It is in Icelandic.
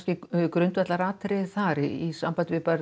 grundvallaratriði þar í sambandi við